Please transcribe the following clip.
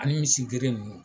Ani misi gere ninnu.